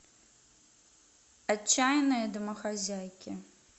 отчаянные домохозяйки